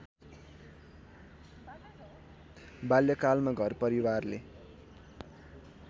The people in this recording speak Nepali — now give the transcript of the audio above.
बाल्यकालमा घरपरिवारले